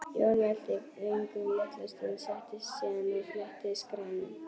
Jón velti vöngum litla stund, settist síðan og fletti skránum.